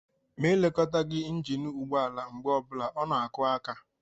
Ma e lekọtaghi injin ụgbọala mgbe ọbụla, ọ na-akụ aka.